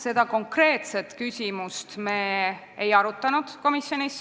Seda konkreetset küsimust me komisjonis ei arutanud.